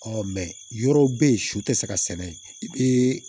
yɔrɔw be yen su tɛ se ka sɛnɛ yen